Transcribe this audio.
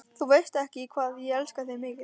Þú veist ekki, hvað ég elska þig mikið.